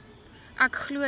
ek glo dat